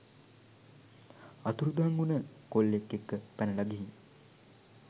අතුරුදන් වුන කොල්ලෙක් එක්ක පැනල ගිහින්